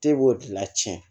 E b'o de la tiɲɛ